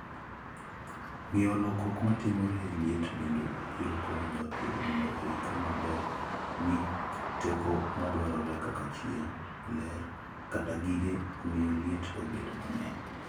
Ng'eyo lokruok matimore e liet bende biro konyo japur mondo oikre maber ne teko madwarore kaka chieng', ler, kata gige miyo liet obed mang'eny.